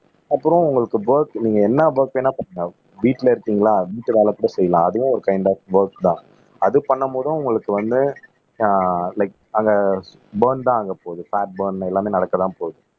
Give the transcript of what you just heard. அப்புறம் உங்களுக்கு ஒர்க் நீங்க என்ன ஒர்க் வேணா பண்ணுங்க வீட்டுல இருக்கீங்களா வீடு வேல கூட செய்யலாம் ஒரு கைன்ட் ஆப் ஒர்க்ஸ் தான் அது பண்ணும் போதும் உங்களுக்கு வந்து ஆஹ் லைக் அங்க பர்ன் தான் ஆகப்போகுது பேட் பர்ன் எல்லாமே நடக்கத்தான் போகுது